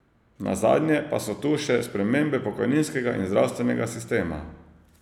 Nazadnje pa so tu še spremembe pokojninskega in zdravstvenega sistema.